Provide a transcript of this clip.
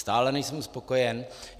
Stále nejsem spokojen.